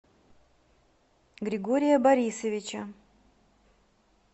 григория борисовича